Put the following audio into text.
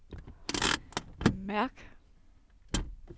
mærk